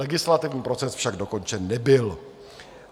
Legislativní proces však dokončen nebyl.